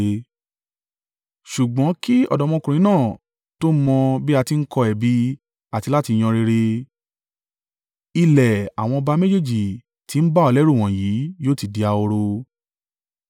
Ṣùgbọ́n kí ọ̀dọ́mọkùnrin náà tó mọ bí a ti ń kọ ẹ̀bi àti láti yan rere, ilẹ̀ àwọn ọba méjèèjì tí ń bà ọ́ lẹ́rù wọ̀nyí yóò ti di ahoro.